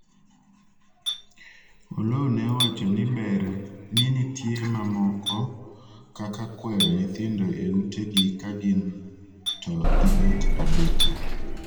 Oloo ne owacho ni ber ni nitie mamoko kaka kwero nyithindo e ute gi ka gin to gibet abeta